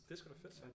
Det er sgu da fedt